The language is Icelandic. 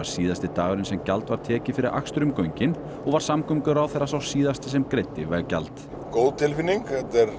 síðasti dagurinn sem gjald var tekið fyrir akstur um göngin og var samgönguráðherra sá síðasti sem greiddi veggjald góð tilfinning